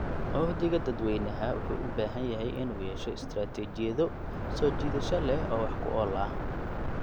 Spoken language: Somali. Uhdhigga dadweynaha wuxuu u baahan yahay in uu yeesho istaraatiijiyado soo jiidasho leh oo wax ku ool ah.